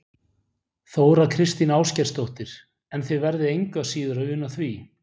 Þóra Kristín Ásgeirsdóttir: En þið verðið engu að síður að una því?